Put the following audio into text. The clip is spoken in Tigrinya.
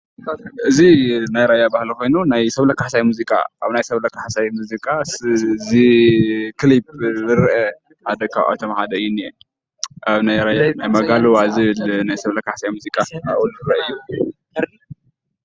እዚ ናይ ራያ ባህሊ ኮይኑ ናይ ሰብለ ካሕሳይ ሙዚቃ ኣብ ናይ ሰብለ ካሕሳይ ሙዚቃ ክሊፕ ዝርአ ሓደ ካብኣቶም ሓደ እዩ ዝኒአ፡፡ አብ ናይ ራያ መጋሉዋ ዝብል ናይ ሰብለ ካሕሳይ ሙዚቃ አብኡ ዝረአ አዩ፡፡